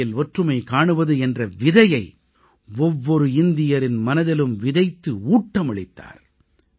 வேற்றுமையில் ஒற்றுமை காணுவது என்ற விதையை ஒவ்வொரு இந்தியரின் மனதிலும் விதைத்து ஊட்டமளித்தார்